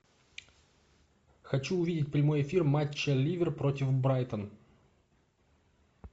хочу увидеть прямой эфир матча ливер против брайтон